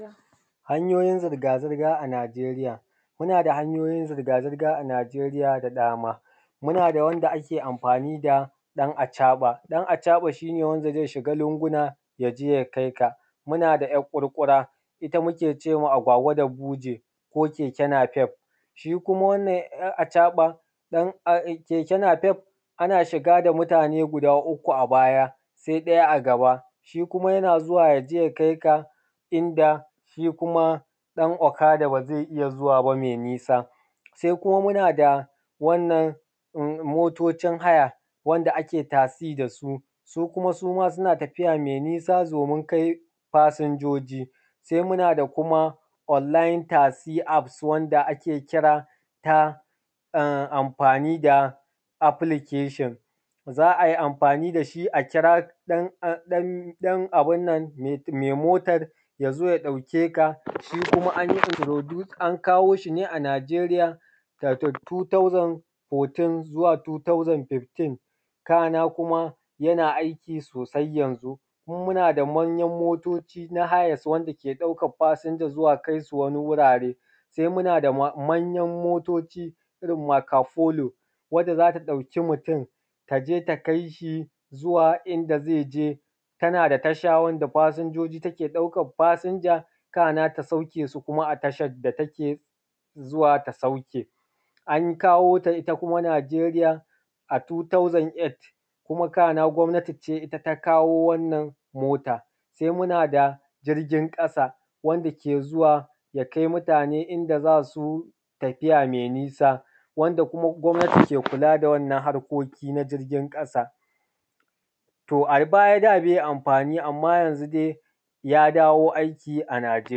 Hanyoyin zirga-zirga a Najeriya, muna da hanyoyin zirga-zirga a Najeriya da dama muna da wanda ake anfani da ɗan acaɓa, ɗan acaɓa shi ne wanda zai shiga lunguna ya je ya kai ka, muna da ‘yar ƙurƙura ita muke cewa agwagwa da buje, akwai keke nafef shi kuma wannan ɗan acaɓa keke nafef ana shiga da mutane guda uku a baya sai ɗaya a gaba, shi kuma yana zuwa ya je ya kai ka inda shi kuma ɗan okada ba zai iya zuwa ba me nisa. Se kuma muna da motocin haya wanda ake tasi da su, su kuma suma suna tafiya me nisa domin kai fasinjoji, se kuma muna da online tasi app wanda ake wanda ake kira ta anfani da application zai amfani da shi a kira me motan ya zo ya ɗauke ka shi an kawo shi ne a Najeriya daga 2014 zuwa 2015 kana kuma yana aiki sosai yanzu. Muna da manyan motoci na hayan wanda ke ɗaukan fasinjoji ya kai su wani wurare, se muna da manyan motoci irin macapolo wanda za ta ɗauki mutun ta je ta kai shi zuwa inda zai je, tana da tasha wanda fasinjoji take ɗauka fasinja kana ta sauke su kuma a tashan da take zuwa ta sauke. An kawo ta ita kuma Najeriya a 2008 kuma kana gwamnati ne ita ta kawo wannan mota, se muna da jirgin ƙasa wanda ke zuwa ya kai mutane inda za su tafiya me nisa wanda kuma gwamnati ke kula da wannan harkoki na jirgin ƙasa, to a baya da bai anfani anma yanzu ya dawo aiki a Najeriya.